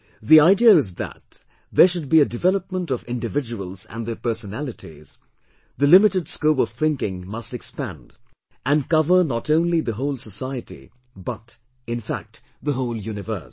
The idea is that there should be a development of individuals and their personalities, the limited scope of thinking must expand and cover not only the whole society but, in fact, the whole universe